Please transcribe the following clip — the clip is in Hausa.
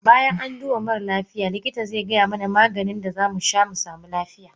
Bayan an duba mare lafiya likita zaigaya mana Maganin da zamu sha musamu lafiya.